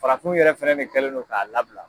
Farafinw yɛrɛ fɛnɛ ne kɛlen no k'a labila.